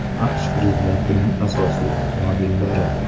AQSh prezidentining asosiy avtomobillari.